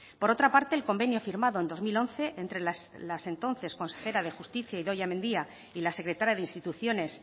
por otra parte el convenio firmado en dos mil once entre las entonces consejera de justicia idoia mendia y la secretaria de instituciones